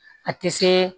A tɛ se